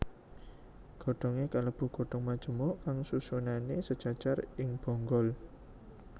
Godhongé kalebu godhong majemuk kang susunané sajajar ing bonggol